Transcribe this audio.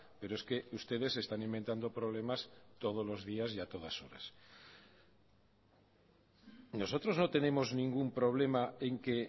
pero es que ustedes se están inventando problemas todos los días y a todas horas nosotros no tenemos ningún problema en que